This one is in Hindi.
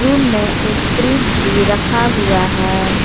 रूम में एक फ्रिज भी रखा हुआ है।